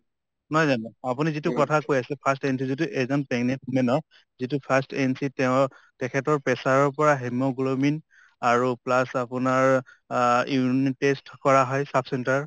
নহয় জানো , আপুনি যিটো কথা কৈ আছে first entry যিটো এজন pregnant woman ক যিটো first entry তেওঁৰ তেখেতৰ pressure ৰ পৰা hemoglobin আৰু plus আপোনাৰ অ urine test কৰা হয় sub center ত